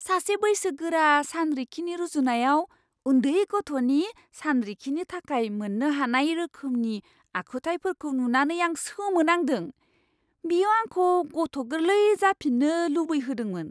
सासे बैसोगोरा सानरिखिनि रुजुनायाव उन्दै गथ'नि सानरिखिनि थाखाय मोन्नो हानाय रोखोमनि आखुथायफोरखौ नुनानै आं सोमोनांदों। बियो आंखौ गथ' गोरलै जाफिननो लुबैहोदोंमोन!